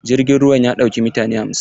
Jirgin ruwan ya ɗauki mutane hamsin.